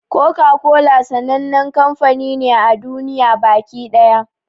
Koka-kola sannan kamfani ne a duniya baki ɗaya.